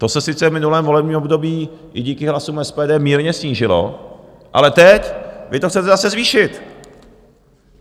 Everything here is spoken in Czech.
To se sice v minulém volebním období i díky hlasům SPD mírně snížilo, ale teď vy to chcete zase zvýšit.